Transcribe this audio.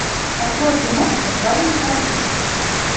открой киношку парень каратист